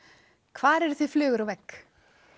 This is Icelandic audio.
hvar eruð þið flugur á vegg